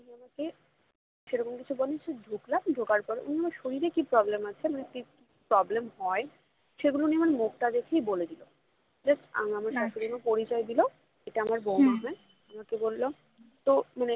আমাকে সেরকম কিছু বলেননি ঢুকলাম ঢোকার পরে উনি আমার শরীরে কি problem আছে মানে কি problem হয় সেগুলো উনি আমার মুখটা দেখেই বলে দিলো just আমি আমার শ্বাশুড়িমা পরিচয় দিলো এটা আমার বৌমা হয় আমাকে বললো তো